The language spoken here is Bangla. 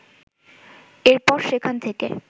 এরপর সেখান থেকে